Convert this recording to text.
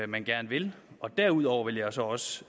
man gerne vil derudover vil jeg så også